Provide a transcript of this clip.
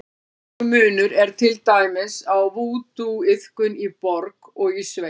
Verulegur munur er til dæmis á vúdúiðkun í borg og í sveit.